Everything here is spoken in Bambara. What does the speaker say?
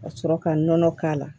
Ka sɔrɔ ka nɔnɔ k'a la